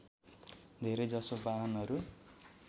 धेरै जसो बाहनहरू